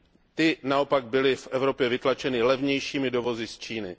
Ty naopak byly v Evropě vytlačeny levnějšími dovozy z Číny.